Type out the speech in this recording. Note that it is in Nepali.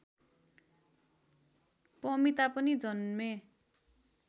पमिता पनि जन्मे